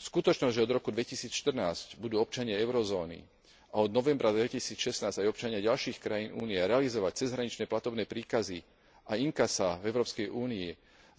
Skutočnosť, že od roku 2014 budú občania eurozóny a od novembra 2016 aj občania ďalších krajín Európskej únie realizovať cezhraničné platobné príkazy a inkasá v Európskej únii